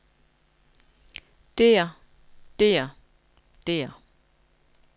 der der der